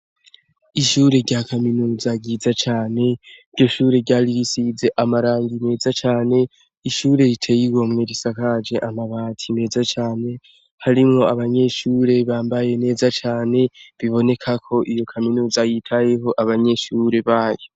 Ishure rya Kaminuza ryiza cane ,iryo Shure ryari risize amarangi neza cane, ishure riteye igomwe risakaje amabati meza cane, harimwo abanyeshure bambaye neza cane biboneka KO iyo Kaminuza yitayeho abanyeshure bayo.